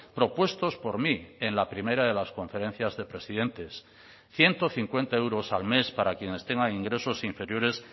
propuestos por mí en la primera de las conferencias de presidentes ciento cincuenta euros al mes para quienes tengan ingresos inferiores